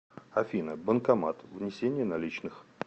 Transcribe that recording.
афина банкомат внесение наличных